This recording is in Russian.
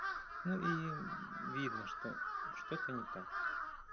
ну и видно что что-то не так